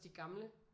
De gamle